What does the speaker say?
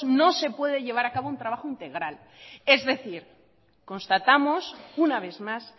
no se puede llevar un trabajo integral es decir constatamos una vez más